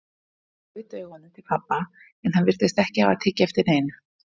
Hann gaut augunum til pabba, en hann virtist ekki hafa tekið eftir neinu.